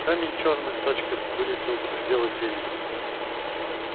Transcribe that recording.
камень чёрной точкой вылетел за пределы тени